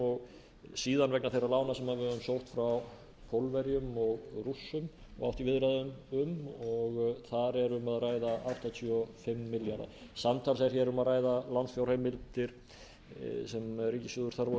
og síðan vegna þeirra lána sem höfum sótt frá pólverjum og rússum og átt í viðræðum um og þar er um að ræða áttatíu og fimm milljarða samtals er hér um að ræða lánsfjárheimildir sem ríkissjóður þarf á